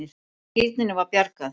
Og skírninni var bjargað.